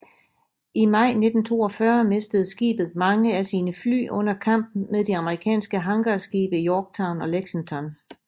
I maj 1942 mistede skibet mange af sine fly under kamp med de amerikanske hangarskibe Yorktown og Lexington